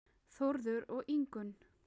Þórður og Ingunn.